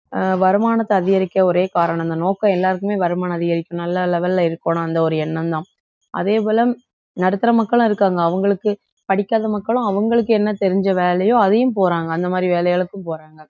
அஹ் வருமானத்தை அதிகரிக்க ஒரே காரணம் அந்த நோக்கம் எல்லாருக்குமே வருமானம் அதிகரிக்கும் நல்ல level ல இருக்கணும் அந்த ஒரு எண்ணம்தான் அதேபோல நடுத்தர மக்களும் இருக்காங்க அவங்களுக்கு படிக்காத மக்களும் அவங்களுக்கு என்ன தெரிஞ்ச வேலையோ அதையும் போறாங்க அந்த மாதிரி வேலைகளுக்கும் போறாங்க